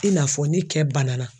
i n'a fɔ ni kɛ banana